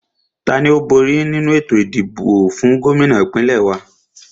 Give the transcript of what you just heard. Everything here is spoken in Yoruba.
Tani ó bóri nínu ètò ìdìbò fún Gómìnà ìpínlẹ̀ wa?